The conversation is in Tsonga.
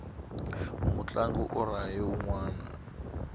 mutlangi u rahe unwana